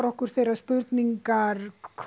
okkur þeirra spurninga